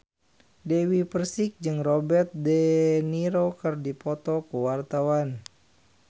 Dewi Persik jeung Robert de Niro keur dipoto ku wartawan